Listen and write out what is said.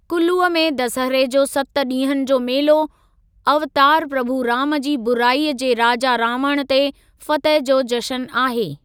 कूल्लूअ में दसहरे जो सत ॾींहंनि जो मेलो अवतारु प्रभु राम जी बुराईअ जे राजा रावण ते फ़तह जो जशन आहे।